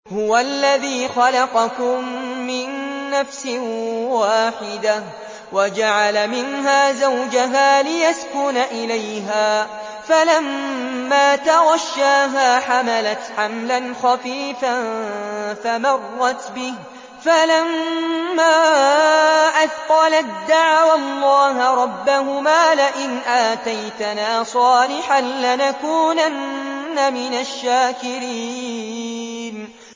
۞ هُوَ الَّذِي خَلَقَكُم مِّن نَّفْسٍ وَاحِدَةٍ وَجَعَلَ مِنْهَا زَوْجَهَا لِيَسْكُنَ إِلَيْهَا ۖ فَلَمَّا تَغَشَّاهَا حَمَلَتْ حَمْلًا خَفِيفًا فَمَرَّتْ بِهِ ۖ فَلَمَّا أَثْقَلَت دَّعَوَا اللَّهَ رَبَّهُمَا لَئِنْ آتَيْتَنَا صَالِحًا لَّنَكُونَنَّ مِنَ الشَّاكِرِينَ